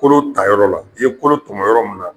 Kolo ta yɔrɔ la, i ye kolo tɔmɔ yɔrɔ mun na